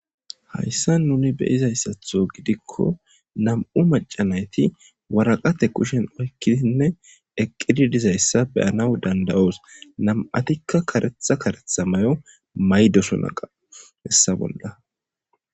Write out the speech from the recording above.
hayssa nuni be izayssatho gidikko nam'u macanayti waraqate kushen oykkidinne eqqidi dizayssa beyanaw danda'oos nam'atikka karetha karetha mayo maydosunaqa hessa bolda.